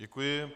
Děkuji.